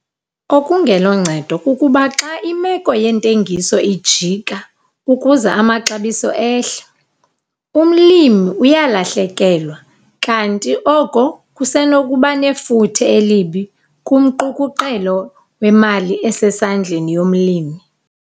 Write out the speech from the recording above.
Okungeloncedo kukuba xa imeko yentengiso ijika ukuze amaxabiso ehle, umlimi uyalahlekelwa, kanti oko kusenokuba nefuthe elibi kumqukuqelo wemali esesandleni yomlimi.